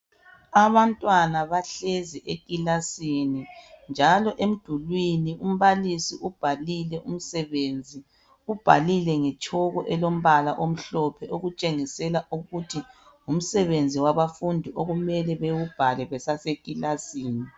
Abantwana bahlezi ekilasini njalo emdulwini umbalisi ubhalile umsebenzi, ubhalile ngetshoko elombala omhlophe okutshengisela ukuthi ngumsebenzi wabafundi okumele bewubhale besasekilasini.